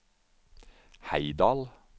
Heidal